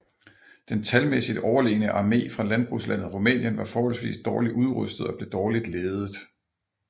Den talmæssigt overlegne armé fra landbrugslandet Rumænien var forholdsvis dårligt udrustet og blev dårligt ledet